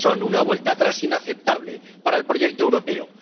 Son una vuelta atrás inaceptable para el proyecto europeo.